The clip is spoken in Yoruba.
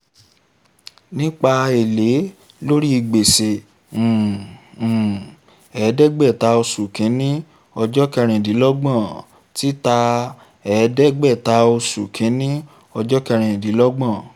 nípa èlé lórí gbèsè um um ẹ̀ẹ́dẹ́gbẹ̀ta oṣù kìíní ọjọ́ kẹrìndínlọ́gbọ̀n títà ẹ̀ẹ́dẹ́gbẹ̀ta oṣù kìíní ọjọ́ kẹrindínlọ́gbọ̀n